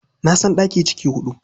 Na san ɗaki ciki huɗu.